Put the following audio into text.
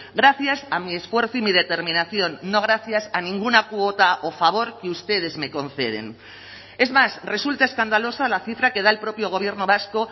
gracias a mi esfuerzo y mi determinación no gracias a ninguna cuota o favor que ustedes me conceden es más resulta escandalosa la cifra que da el propio gobierno vasco